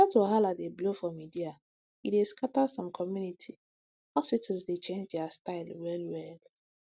health wahala dey blow for media e dey scatter some community hospitals dey change their style well well